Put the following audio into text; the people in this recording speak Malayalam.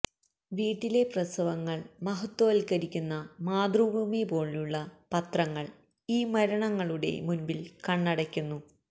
വീട്ടിലെ പ്രസവങ്ങൾ മഹത്വവൽക്കരിക്കുന്ന മാതൃഭൂമി പോലുള്ള പത്രങ്ങൾ ഈ മരണങ്ങളുടെ മുൻപിൽ കണ്ണടക്കുന്നു